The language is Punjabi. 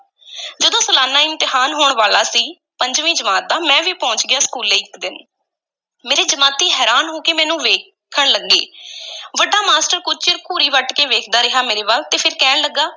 ਜਦੋਂ ਸਲਾਨਾ ਇਮਤਿਹਾਨ ਹੋਣ ਵਾਲਾ ਸੀ, ਪੰਜਵੀਂ ਜਮਾਤ ਦਾ, ਮੈਂ ਵੀ ਪਹੁੰਚ ਗਿਆ ਸਕੂਲੇ ਇੱਕ ਦਿਨ, ਮੇਰੇ ਜਮਾਤੀ ਹੈਰਾਨ ਹੋ ਕੇ ਮੈਨੂੰ ਵੇਖਣ ਲੱਗੇ ਵੱਡਾ ਮਾਸਟਰ ਕੁਝ ਚਿਰ ਘੂਰੀ ਵੱਟ ਕੇ ਵੇਖਦਾ ਰਿਹਾ ਮੇਰੇ ਵੱਲ ਤੇ ਫੇਰ ਕਹਿਣ ਲੱਗਾ,